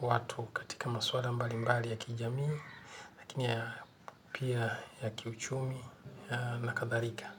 watu katika maswala mbalimbali ya kijamii lakini pia ya kiuchumi na kadhalika.